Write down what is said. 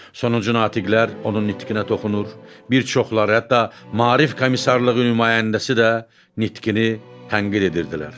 Sonuncu natiqlər onun nitqinə toxunur, bir çoxları hətta maarif komissarlığı nümayəndəsi də nitqini tənqid edirdilər.